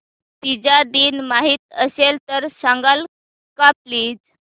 Fiji दिन माहीत असेल तर सांगाल का प्लीज